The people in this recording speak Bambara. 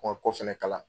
U ka kɔ fɛnɛ kalan